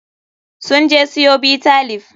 Sun je siyo Bitter leaf.